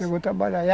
Chegou a trabalhar.